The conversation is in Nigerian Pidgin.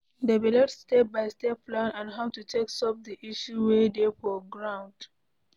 Develop step by step plan on how to take solve di issue wey dey for ground